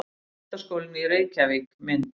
Menntaskólinn í Reykjavík- mynd.